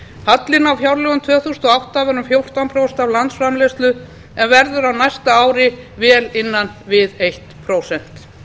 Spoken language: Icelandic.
hallinn á fjárlögum tvö þúsund og átta var um fjórtán prósent af landsframleiðslu en verður á næsta ári vel innan við eitt prósent